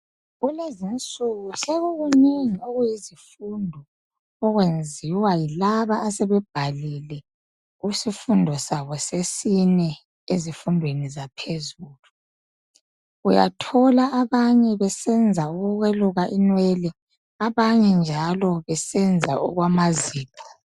kulezi snuku sekukunengi okuyizifundo okwenziwa yilaba asebebhalile kusifundo sabo sesine ezifundweni zaphezulu uyathola abanye besenza ukweluka inwele abanye njalo besenza okwamazipho